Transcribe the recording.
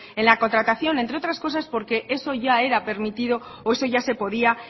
en la contratación entre otras cosa porque eso ya era permitido o eso ya se podía